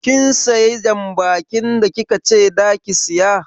Kin siya jan bakin da kikace zaki siya?